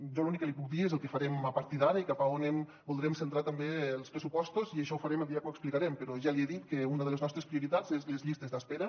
jo l’únic que li puc dir és el que farem a partir d’ara i cap a on voldrem centrar també els pressupostos i això ho farem el dia que els explicarem però ja li he dit que una de les nostres prioritats són les llistes d’espera